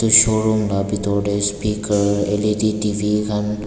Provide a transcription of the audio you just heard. show room laga bethor te speaker L_E_D tv T_V khan--